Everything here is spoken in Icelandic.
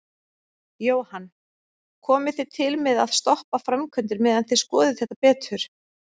Jóhann: Komið þið til með að stoppa framkvæmdir meðan þið skoðið þetta betur?